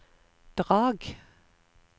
Drag